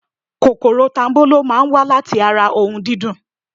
Kòkòrò tanbolo máa ń wa láti ara ohun dídùn.